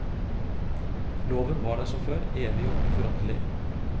Loven var der som før, evig og uforanderlig.